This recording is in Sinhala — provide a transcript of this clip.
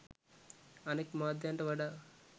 අනෙක් මාධ්‍යන්ට වඩා